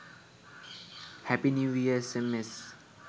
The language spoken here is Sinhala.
happy new year sms